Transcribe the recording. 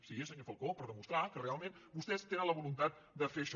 sí senyor falcó per demostrar que realment vostès tenen la voluntat de fer això